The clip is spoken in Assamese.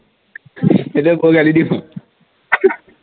এইডাল কৰ গালি দি থও